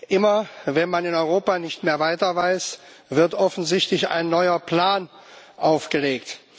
Immer, wenn man in Europa nicht mehr weiter weiß, wird offensichtlich ein neuer Plan aufgelegt.